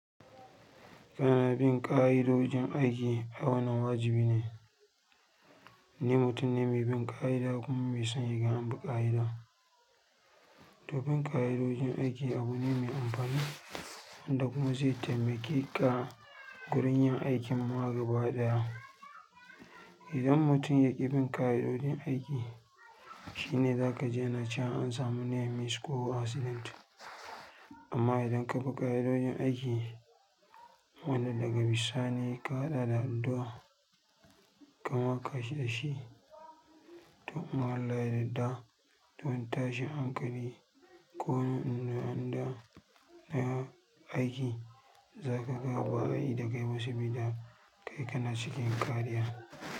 Kana bin ƙa'idojin aiki ai wannan wajibi ne. Ni mutum ne mai bin ƙa'ida kuma mai son in gan anbi ƙa'ida. Dubin ƙa'idojin aiki abu ne mai amfani wanda kuma zai taimake ka gurin yin aikin mu'a gaba ɗaya. Idan mutum yaƙi bin ƙa'idojin aiki, shi ne za ka ji na ci an samu nei mis ko asilint. Amma idan ka bi ƙa'idojin aiki, wanda daga bisani ka haɗa da addua, kamaka sashi, to in Allah yarda dun wani tashin ankali ko wani inda anda na aiki, za ka ga ba'a yi da kai ba sabida kai kana cikin ƙariya.